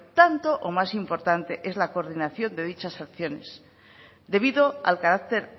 tanto o más importante es la coordinación de dichas acciones debido al carácter